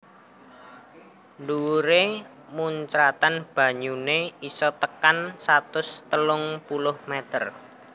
Dhuwuré muncratan banyuné isa tekan satus telung puluh meter